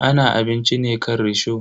Ana abinci ne akan risho.